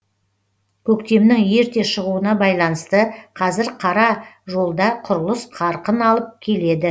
көктемнің ерте шығуына байланысты қазір қара жолда құрылыс қарқын алып келеді